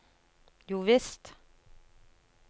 jovisst